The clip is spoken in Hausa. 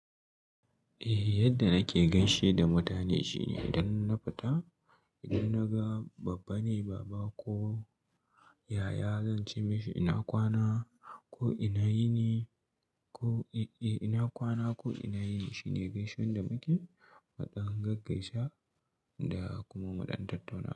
Eh yadda nake gaishe da mutane shine idan na fita idan naga babba ne baba ko yaya zan ce mashi ina kwana ko ina yini ko eh ina kwana ko ina yini shine gaisuwan da muke mu ɗan gaggaisa da kuma mu ɗan tattauna.